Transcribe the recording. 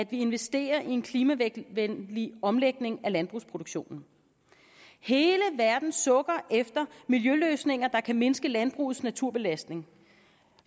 vi investerer i en klimavenlig omlægning af landbrugsproduktionen hele verden sukker efter miljøløsninger der kan mindske landbrugets naturbelastning